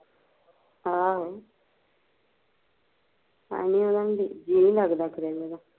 ਆਹੋ ਤਾਂਹੀਂਓ ਜੀਅ ਨੀ ਲੱਗਦਾ ਖਰੇ ਇਹਦਾ